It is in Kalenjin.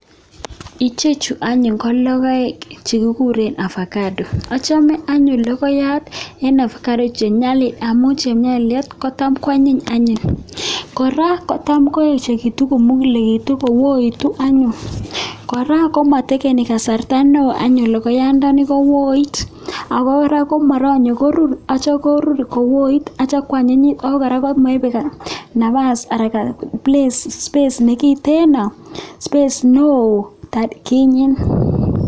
ichet chu ko lokoek avocado achape anyun lokoiyat nepo avocado amun cham kwanyiny kora kocham koechikitu komukulitu kora komaipe kasarta neo kekonori korur ako anyinyit.